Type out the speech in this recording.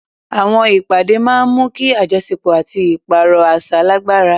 Àwọn ìpàdé máa ń mú kí àjọṣepọ̀ àti ìpààrọ̀ àṣà lágbára.